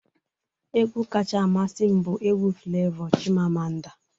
Egwu kacha amasị m bụ egwu Flevọ 'Chimamanda'